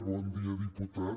bon dia diputat